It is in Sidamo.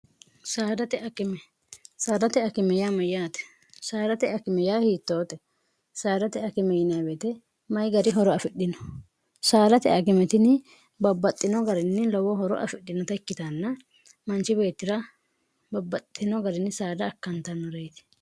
srate kimey mayyaate saarate akimi ya hiittoote saarate akime yineebeete mayi gari horo afidhino saarate akimetini babbaxxino garinni lowo horo afidhinota ikkitanna manchi beettira babbaxxino garinni saada akkantannoreeti